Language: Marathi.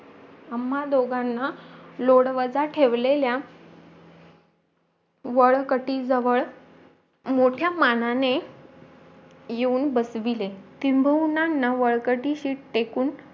आम्हा दोघांना लोडवाजा ठेवलेल्या वळकती जवळ मोठ्या मानाने येऊन बसवीले किंबहुना व्यवस्तीत टेकवून